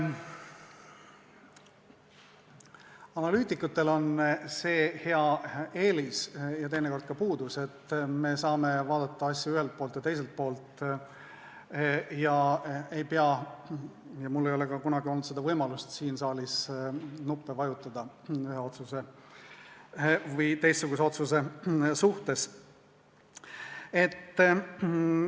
Analüütikutel on see hea eelis, mis teinekord võib olla ka puudus, et me saame vaadata asju ühelt ja teiselt poolt ega pea – mul ei ole ka kunagi olnud seda võimalust – siin saalis ühe otsuse või teise otsuse suhtes nuppe vajutama.